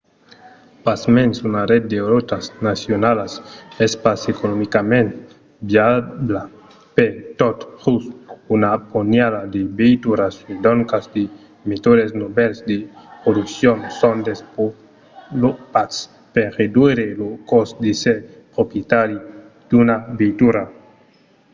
pasmens una ret de rotas nacionalas es pas economicament viabla per tot just una ponhada de veituras e doncas de metòdes novèls de produccion son desvolopats per reduire lo còst d'èsser proprietari d'una veitura